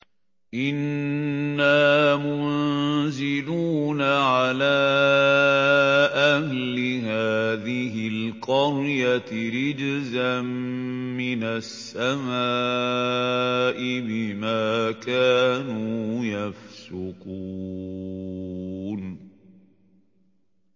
إِنَّا مُنزِلُونَ عَلَىٰ أَهْلِ هَٰذِهِ الْقَرْيَةِ رِجْزًا مِّنَ السَّمَاءِ بِمَا كَانُوا يَفْسُقُونَ